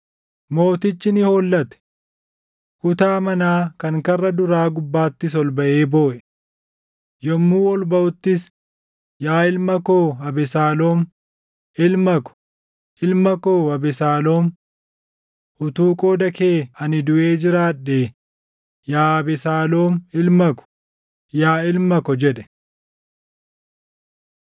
Mootichi ni hollate. Kutaa manaa kan karra duraa gubbaattis ol baʼee booʼe. Yommuu ol baʼuttis, “Yaa ilma koo Abesaaloom! Ilma ko, ilma koo Abesaaloom! Utuu qooda kee ani duʼee jiraadhee; yaa Abesaaloom ilma ko, yaa ilma ko!” jedhe.